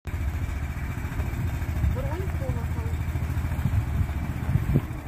бронь колокол